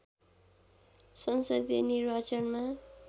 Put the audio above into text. संसदीय निर्वाचनमा